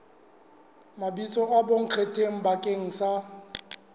mabitso a bonkgetheng bakeng sa